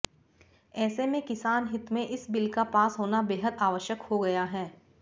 ऐसे में किसान हित में इस बिल का पास होना बेहद आवश्यक हो गया है